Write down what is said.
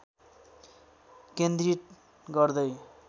केन्द्रित गर्दै